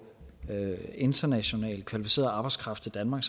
international kvalificeret arbejdskraft til danmark